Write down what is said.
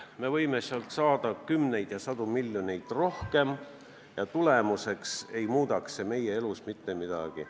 Me võime sealt saada kümneid ja sadu miljoneid rohkem, aga see ei muudaks meie elus mitte midagi.